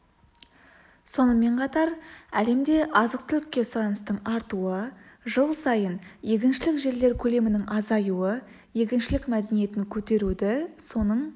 сонымен қатар әлемде азық-түлікке сұраныстың артуы жыл сайын егіншілік жерлер көлемінің азаюы егіншілік мәдениетін көтеруді соның